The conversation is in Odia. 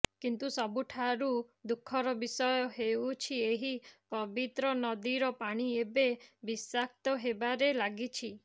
କିନ୍ତୁ ସବୁଠାରୁ ଦୁଖର ବିଷୟ ହେଉଛି ଏହି ପବିତ୍ର ନଦୀର ପାଣି ଏବେ ବିଶାକ୍ତ ହେବାରେ ଲାଗିଛି